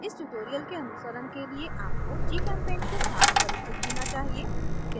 इस tutorial के अनुसरण के लिए आपको gchempaint के साथ परिचित होना चाहिए